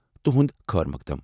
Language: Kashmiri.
تہنٛد خٲر مقدم ۔